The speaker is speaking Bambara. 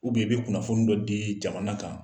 i be kunnafoni dɔ dii jamana kan.